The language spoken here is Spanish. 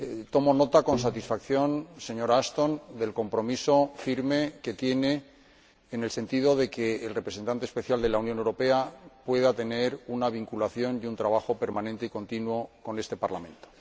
Tomo nota con satisfacción, señora Ashton, del compromiso firme que tiene en el sentido de que el Representante Especial de la Unión Europea pueda tener una vinculación y desarrolle un trabajo permanente y continuo con este Parlamento.